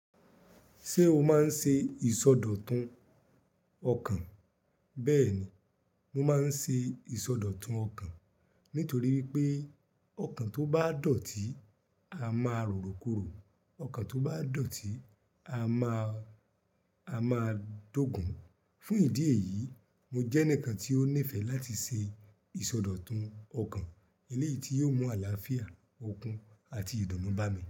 Ṣé o máa ń ṣe ìsọdọ̀tun ọkàn? Bẹ́ẹ̀ni, mo máa ń ṣe ìsọdọ̀tun ọkàn nítorí wipé ọkàn tó bá dọ̀tí, a máa rọrọ kúrò. Ọkàn tó bá dọ̀tí, a máa, a máa dógùn-un. Fún ìdí èyí, mo jẹ́ ẹnìkan tí ó nífẹ̀ẹ́ láti ṣe ìsọdọ̀tun ọkàn eléyìí tí yóò mú àlàáfíà, okun àti ìdùnnú bá mi.